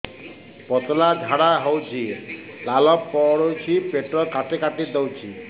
ପତଳା ଝାଡା ହଉଛି ଲାଳ ପଡୁଛି ପେଟ କାଟି କାଟି ଦଉଚି